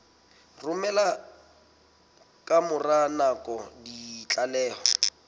romela ka mora nako ditlaleho